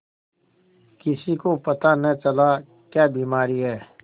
किसी को पता न चला क्या बीमारी है